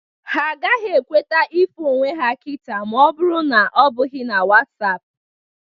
Ha ga-ekwete ịfụ onwe ha kịta ma ọ bụrụ na ọ bụghị na Wasapụ